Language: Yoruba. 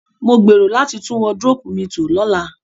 Mo gbèrò láti tún wardrobe mi to lọ́la